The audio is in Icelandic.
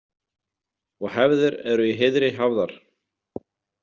Og hefðir eru í heiðri hafðar.